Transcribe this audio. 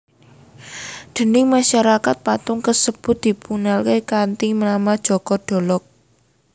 Déning masyarakat patung kasebut dipunkenal kanthi nama Joko Dolog